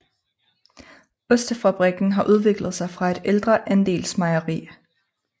Ostefabrikken har udviklet sig fra et ældre andelsmejeri